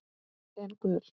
En gul?